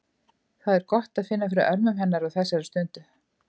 Það er gott að finna fyrir örmum hennar á þessari stundu.